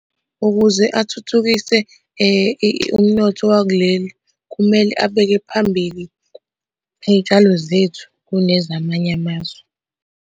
Ukuze athuthukise umnotho wakuleli kumele abeke phambili iy'tshalo zethu kunezamanye amazwe.